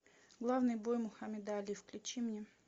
главный бой мухаммеда али включи мне